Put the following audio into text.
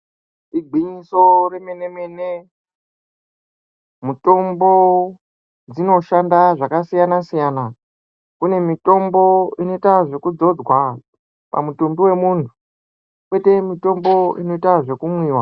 Igwinyiso remenemene, mutombo dzinoshanda zvakasiyanasiyana ,kune mitombo inoitwa zvekuzodzwa pamutumbi wemuntu kwoita mutombo inoitwa zvekumwiwa